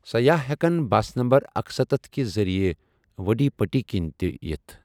سَیاح ہٮ۪کَن bus number اکسَتتھ کہِ ذٔریعہٕ وڈی پٹی کِنۍ تہِ یِتھ ۔